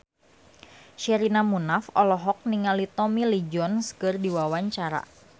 Sherina Munaf olohok ningali Tommy Lee Jones keur diwawancara